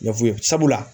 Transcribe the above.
I y'a f'u ye sabula